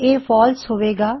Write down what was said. ਇਹ ਫਾਲਸ ਹਵੇ ਗਾ